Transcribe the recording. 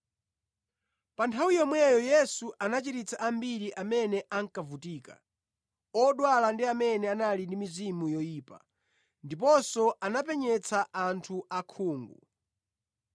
Pa nthawi yomweyo, Yesu anachiritsa ambiri amene ankavutika, odwala ndi amene anali mizimu yoyipa, ndiponso anapenyetsa anthu osaona.